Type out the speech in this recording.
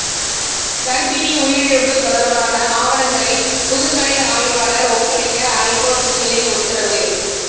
கர்ப்பிணி உயிரிழப்பு தொடர்பான ஆவணங்களை புதுக்கடை ஆய்வாளர் ஒப்படைக்க ஐகோர்ட் கிளை உத்தரவு